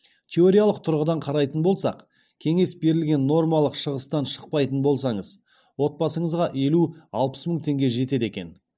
теориялық тұрғыдан қарайтын болсақ кеңес берілген нормалық шығыстан шықпайтын болсаңыз отбасыңызға елу алпыс мың теңге жетеді екен